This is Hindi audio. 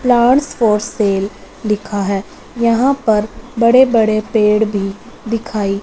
प्लांट्स फॉर सेल लिखा है यहां पर बड़े बड़े पेड़ भी दिखाई--